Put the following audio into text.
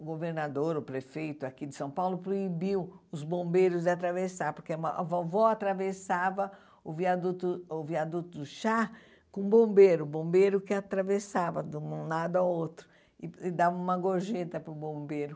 O governador, o prefeito aqui de São Paulo proibiu os bombeiros de atravessar, porque uma a vovó atravessava o viaduto o viaduto do chá com o bombeiro, o bombeiro que atravessava de um lado ao outro e e dava uma gorjeta para o bombeiro.